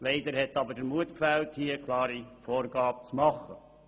Leider hat jedoch der Mut gefehlt, eine klare Vorgabe zu machen.